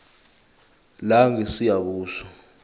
langesiyabuswa